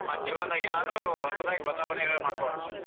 ಮತ್ ಜೀವನದಾಗ ಏನಾದ್ರು ಹೊಸದಾಗಿ ಬದಲಾವಣೆಗಳ ಮಾಡ್ಕೋಳೋಣ.